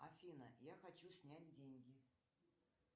афина я хочу снять деньги